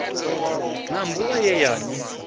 na mbuvha ye ya ni